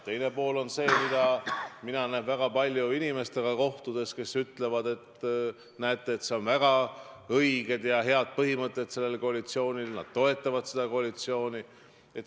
Teine pool on see, mida mina näen väga palju inimestega kohtudes, kes ütlevad, et väga õiged ja head põhimõtted on sellel koalitsioonil, nad toetavad seda koalitsiooni.